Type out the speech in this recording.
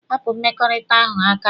Hapụ mmekọrịta ahụ aka!